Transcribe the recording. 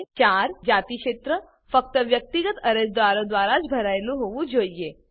4 જાતિ ક્ષેત્ર ફક્ત વ્યક્તિગત અરજદારો દ્વારા જ ભરેલું હોવું જોઈએ